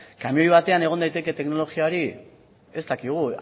kamioi batean egon daiteke teknologia hori ez dakigu